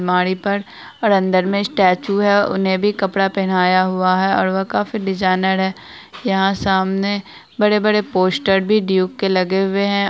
अलमारी पर और अंदर में स्टैचू है उन्हें भी कपड़ा पहनाया हुआ है और वो काफी डिज़ाइनर है यहां सामने बड़े-बड़े पोस्टर भी ड्यूक के लगे हुए है।